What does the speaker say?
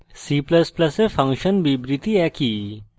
c ++ এ function বিবৃতি একই